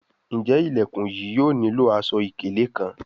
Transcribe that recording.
Njé Ilẹkùn yìí yóò nilo aṣọ-ikele kán?